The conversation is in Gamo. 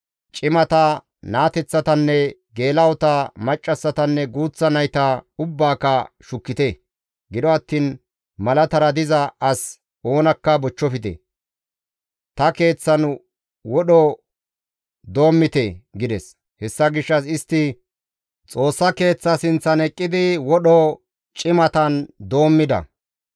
Cimata, naateththatanne geela7ota, maccassatanne guuththa nayta ubbaaka shukkite; gido attiin malatara diza as oonakka bochchofte. Wodho ta Keeththan doommite» gides. Hessa gishshas istti Xoossa Keeththa sinththan eqqidi wodho cimatan doommida.